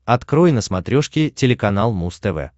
открой на смотрешке телеканал муз тв